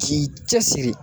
K'i cɛsiri